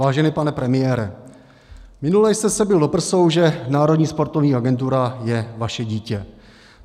Vážený pane premiére, minule jste se bil do prsou, že Národní sportovní agentura je vaše dítě.